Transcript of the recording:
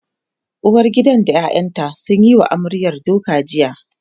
uwargidan da ƴaƴanta sun Yi wa amaryar duka jiya